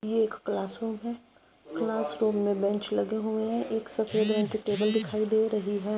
ये एक class room है क्लास रूम मे बेंच लगे हुए हैं एक सफेद रंग की टेबल दिखाई दे रही है।